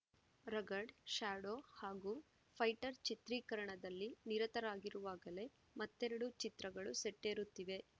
Rugged Shadow ಹಾಗೂ Fighter ಚಿತ್ರೀಕರಣದಲ್ಲಿ ನಿರತರಾಗಿರುವಾಗಲೇ ಮತ್ತೆರೆಡು ಚಿತ್ರಗಳು ಸೆಟ್ಟೇರುತ್ತಿವೆ